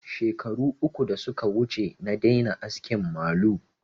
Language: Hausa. Shekaru uku da suka wuce na daina askin malu